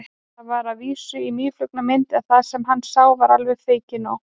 Það var að vísu í mýflugumynd en það sem hann sá var alveg feikinóg.